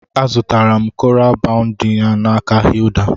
A zụtara m koral bogundi n'aka Hilda